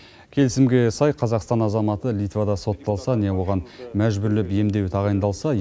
келісімге сай қазақстан азаматы литвада сотталса не оған мәжбүрлеп емдеу тағайындалса